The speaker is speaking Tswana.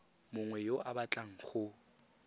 mongwe yo o batlang go